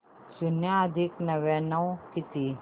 शून्य अधिक नव्याण्णव किती